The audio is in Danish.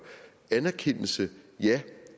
anerkendelse ja